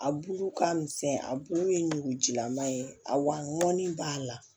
A bulu ka misɛn a bulu ye ɲugujilaman ye a wa mɔnni b'a la